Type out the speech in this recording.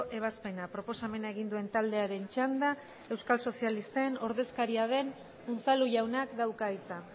ebazpena proposamena egin duen taldearen txanda euskal sozialisten ordezkaria den unzalu jaunak dauka hitza